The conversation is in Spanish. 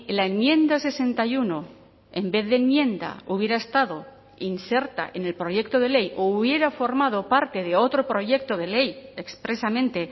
la enmienda sesenta y uno en vez de enmienda hubiera estado inserta en el proyecto de ley o hubiera formado parte de otro proyecto de ley expresamente